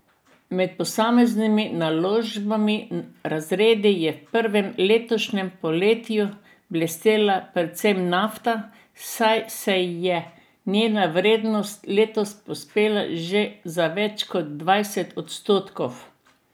Med posameznimi naložbenimi razredi je v prvem letošnjem polletju blestela predvsem nafta, saj se je njena vrednost letos povzpela že za več kot dvajset odstotkov.